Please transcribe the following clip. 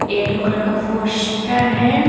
Yellow colour का poster है।